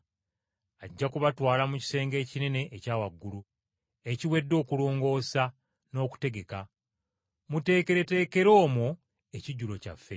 Ajja kubalaga ekisenge ekinene ekya waggulu, ekiwedde okulongoosa n’okutegeka. Muteekereteekere omwo ekijjulo kyaffe.”